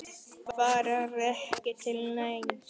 Hvað er ekki til neins?